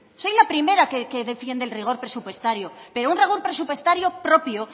soy la primera que defiende el rigor presupuestario pero un rigor presupuestario propio